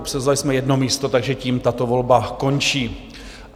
Obsazovali jsme jedno místo, takže tím tato volba končí.